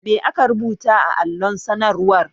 Ma aka rubuta a allon sanarwar?